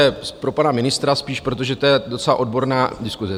To je pro pana ministra spíš, protože to je docela odborná diskuse.